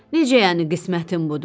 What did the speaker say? Necə yəni qismətim budur?